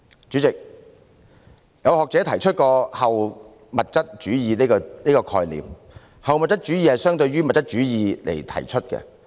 主席，曾經有學者提出後物質主義的概念，這是相對於物質主義而提出的。